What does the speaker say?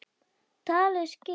Talið skip?